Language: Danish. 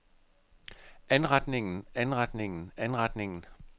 anretningen anretningen anretningen